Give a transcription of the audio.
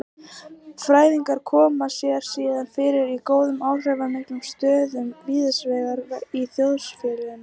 Fræðingarnir koma sér síðan fyrir í góðum áhrifamiklum stöðum víðsvegar í þjóðfélaginu.